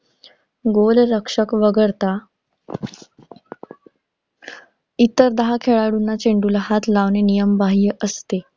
गोलरक्षक वगळता इतर दहा खेळाडूंना चेंडूला हात लावणे नियमबाह्य असते.